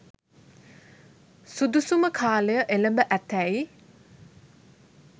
සුදුසුම කාලය එළඹ ඇතැයි